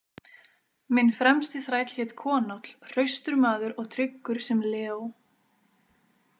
Minn fremsti þræll hét Konáll, hraustur maður og tryggur sem leó.